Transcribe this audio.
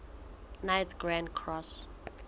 knights grand cross